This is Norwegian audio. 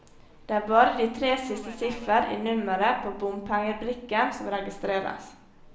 Det er bare de tre siste siffer i nummeret på bompengebrikken som registreres.